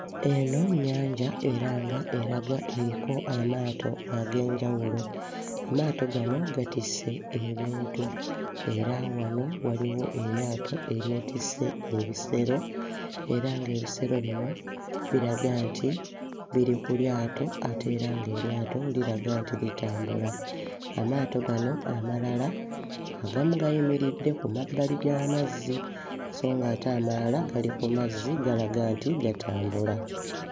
Eno nnyanja era nga eraga eriko amaato ag'enjawulo. Amaato gano gatisse ebintu era wano waliwo eryato eryetisse ebisero era ng'ebisero bino biraga nti biri ku lyato ate era ng'eryato liraga nti litambula, amaato gano amalala agamu gayimiridde ku mabbali g'amazzi so ng'ate amalala gali ku mazzi gatambula.